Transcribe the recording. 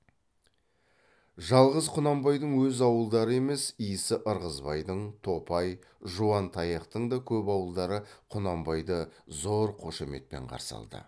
жалғыз құнанбайдың өз ауылдары емес исі ырғызбайдың топай жуантаяқтың да көп ауылдары құнанбайды зор қошеметпен қарсы алды